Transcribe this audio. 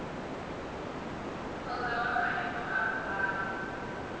kgotsa wa maemo a boraro